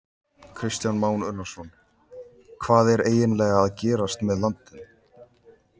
Kristján Már Unnarsson: Hvað er eiginlega að gerast með landann?